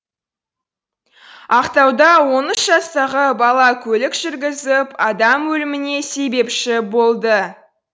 ақтауда он үш жастағы бала көлік жүргізіп адам өліміне себепші болды